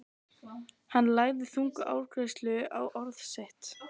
Hann lagði þunga áherslu á orð sín.